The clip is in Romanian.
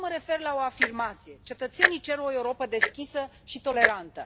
Vreau să mă refer la o afirmație cetățenii cer o Europă deschisă și tolerantă.